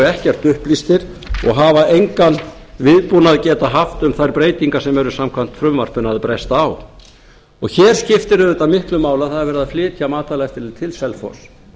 ekkert upplýstir og hafa engan viðbúnað getað haft um þær breytingar sem eru samkvæmt frumvarpinu að bresta á og hér skiptir auðvitað miklu máli að það er verið að flytja matvælaeftirlitið til selfoss